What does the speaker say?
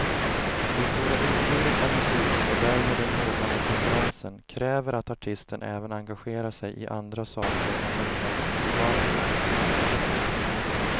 Det stora utbudet av musik och därmed den hårdnande konkurrensen kräver att artisten även engagerar sig i andra saker än de rent musikaliska.